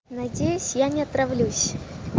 надеюсь я не отравлюсь